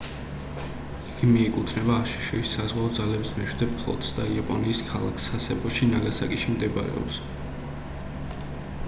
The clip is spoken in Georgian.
იგი მიეკუთვნება აშშ-ის საზღვაო ძალების მეშვიდე ფლოტს და იაპონიის ქალაქ სასებოში ნაგასაკიში მდებარეობს